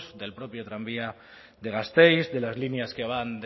del propio tranvía de gasteiz de las líneas que van